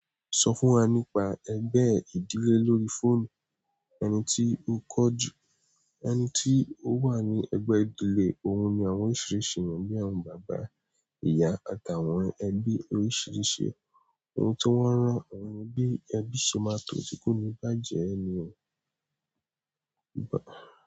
Sọ fún wa nípa ẹgbẹ́ ìdílé lórí fóònù. Ẹni tí ó kọ jù, ẹni tí ó wà ní ẹgbẹ́ ìdílé, òun ni àwọn oríṣìíríṣìí ènìyàn bíi àwọn bàbá, ìyá, àtàwọn ẹbí oríṣìíríṣìí. Ohun tó wọ́ ràn, òun bí ẹbí ṣe máa tó tí kò ní bàjẹ́ ẹni o.